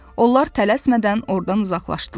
Onlar tələsmədən ordan uzaqlaşdılar.